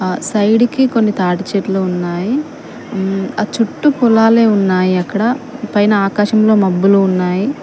ఆ సైడు కి కొన్ని తాటి చెట్లు ఉన్నాయి మ్మ్ ఆ చుట్టు పొలాలే ఉన్నాయి అక్కడ పైన ఆకాశంలో మబ్బులు ఉన్నాయి.